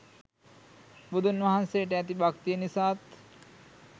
බුදුන් වහන්සේට ඇති භක්තිය නිසාත්